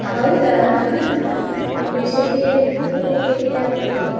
ಹೌದಾ! ಇಲ್ಲಿ ಸೆಕೆಯಲ್ಲಿ ಕುತ್ಕೊಳ್ಳಿಕೆಗೆ ಆಗುದಿಲ್ಲ.